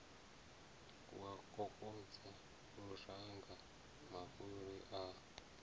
wa kokodza luranga mafhuri a